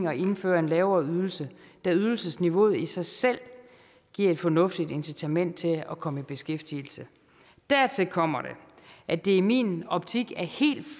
at indføre en lavere ydelse da ydelsesniveauet i sig selv giver et fornuftigt incitament til at komme i beskæftigelse dertil kommer at det i min optik